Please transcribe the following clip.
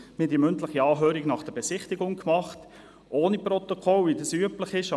Wir führten die mündliche Anhörung nach der Besichtigung durch – ohne Protokoll, wie das üblich ist.